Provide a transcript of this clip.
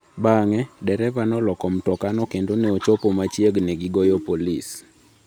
Bang’e, dereva noloko mtokano kendo ne ochopo machiegni ni ogoyo polisi.